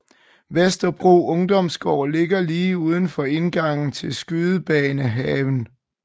Vesterbro Ungdomsgård ligger lige indenfor indgangen til Skydebanehaven